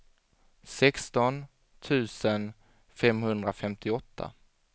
sexton tusen femhundrafemtioåtta